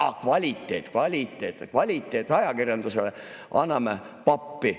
Aa, kvaliteet‑, kvaliteet‑, jah, kvaliteetajakirjandusele anname pappi.